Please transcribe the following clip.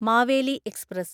Maveli express